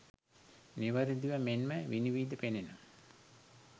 නිවැරදිව මෙන්ම විනිවිද පෙනෙන